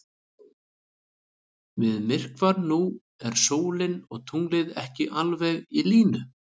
Við myrkvann nú eru sólin og tunglið ekki alveg í línu.